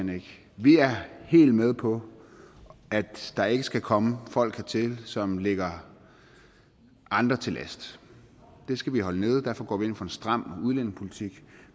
vi er helt med på at der ikke skal komme folk hertil som ligger andre til last det skal vi holde nede derfor går vi ind for en stram udlændingepolitik